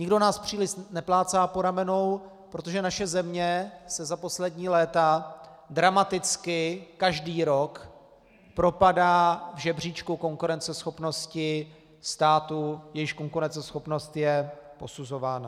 Nikdo nás příliš neplácá po ramenou, protože naše země se za poslední léta dramaticky každý rok propadá v žebříčku konkurenceschopnosti států, jejichž konkurenceschopnost je posuzována.